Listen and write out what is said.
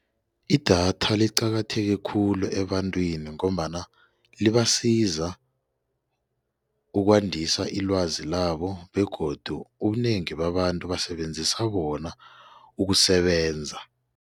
Idatha liqakatheke khulu ebantwini ngombana libasiza ukwandisa ilwazi labo begodu ubunengi babantu basebenzisa bona ukusebenza.